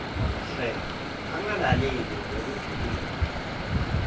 hle angalaleli ngalokujulile